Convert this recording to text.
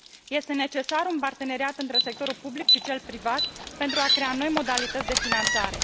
Este necesar un parteneriat între sectorul public și cel privat pentru a crea noi modalități de finanțare.